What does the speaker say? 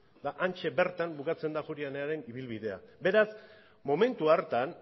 eta hantxe bertan bukatzen da ajuria enearen ibilbidea beraz momentu hartan